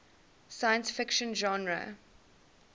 science fiction genre